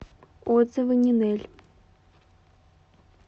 отзывы нинель